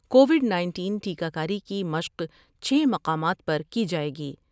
Covid nineteen ٹیکہ کاری کی مشق چھ مقامات پر کی جاۓ گی ۔